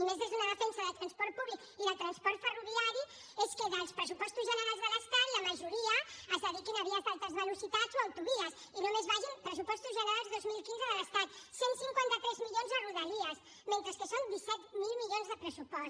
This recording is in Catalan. i més des d’una defensa del transport públic i del transport ferroviari és que dels pressupostos generals de l’estat la majoria es dediquin a vies d’alta velocitat o autovies i només vagin pressupostos generals dos mil quinze de l’estat cent i cinquanta tres milions a rodalies mentre que són disset mil milions de pressupost